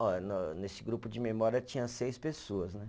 Olha, no nesse grupo de memória tinha seis pessoas, né?